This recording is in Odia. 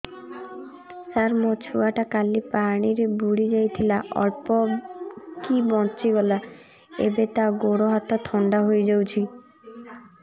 ସାର ମୋ ଛୁଆ ଟା କାଲି ପାଣି ରେ ବୁଡି ଯାଇଥିଲା ଅଳ୍ପ କି ବଞ୍ଚି ଗଲା ଏବେ ତା ଗୋଡ଼ ହାତ ଥଣ୍ଡା ହେଇଯାଉଛି